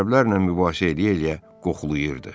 Ərəblərlə mübahisə eləyə-eləyə qoxulayırdı.